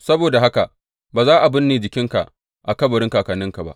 Saboda haka ba za a binne jikinka a kabarin kakanninka ba.’